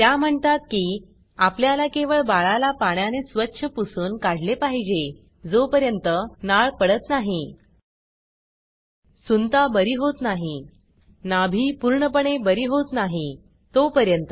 त्या म्हणतात की आपल्याला केवळ बाळाला पाण्याने स्वच्छ पुसून काढले पाहिजे जोपर्यंत नाळ पडत नाही सुंता बरी होत नाही नाभी पूर्णपणे बरी होत नाही तोपर्यंत